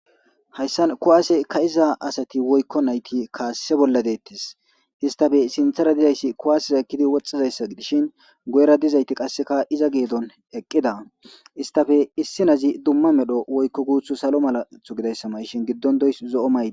Hayssan kuwaase ka' iza asati woykko nayti kaasse bolla deettis. Isstappe sintardiya izi kuwaase ekkidi woxxiza iza gidishin guyera dizayti qassikka iza geedon eqqida istappe issi na'izi dumma medho woykko guuta salo mala shurabe mayida gidishin giddon de'iyage zo'o maydi.